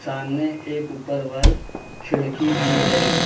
सामने एक ऊपर वॉल खिड़की भी है।